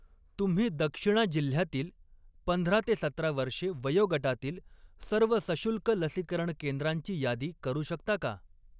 तुम्ही दक्षिणा जिल्ह्यातील पंधरा ते सतरा वर्षे वयोगटातील सर्व सशुल्क लसीकरण केंद्रांची यादी करू शकता का?